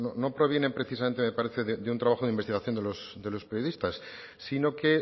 no provienen precisamente de un trabajo de investigación de los periodistas sino que